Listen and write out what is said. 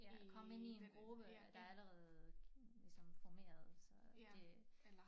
Ja komme ind i en gruppe der allerede ligesom formeret så det